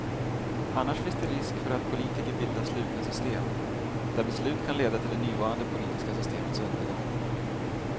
Annars finns det en risk för att politiker bildar slutna system, där beslut kan leda till det nuvarande politiska systemets undergång.